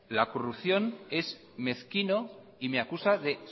la corrupción es mezquino y me acusa de